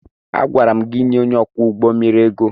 Agwara m gị nye onye ọkwọ ụgbọ mmiri ego!